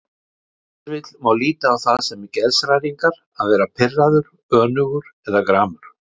Ef til vill má líta á það sem geðshræringar að vera pirraður, önugur eða gramur.